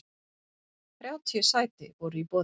Þrjátíu sæti voru í boði.